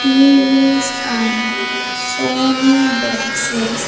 T_V's and Sony boxes.